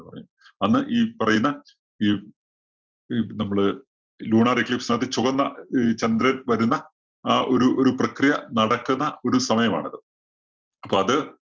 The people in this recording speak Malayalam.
അന്ന് ഈ പറയുന്ന ഈ ഈ നമ്മുടെ lunar eclipse നകത്ത് ചുവന്ന ഒരു ചന്ദ്രന്‍ വരുന്ന ആ ഒരു ഒരു പ്രക്രിയ നടക്കുന്ന ഒരു സമയമാണത്. അപ്പോ അത്